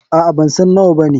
Aa, bansan nawa bane.